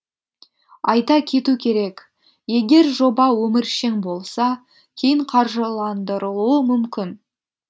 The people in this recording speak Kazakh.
айта кету керек егер жоба өміршең болса кейін қаржыландырылуы мүмкін